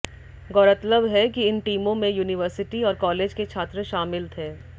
गौरतलब है कि इन टीमों में यूनिवर्सिटी और कॉलेज के छात्र शामिल थे